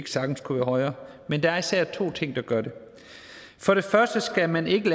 sagtens kunne være højere men der er især to ting der gør det for det første skal man ikke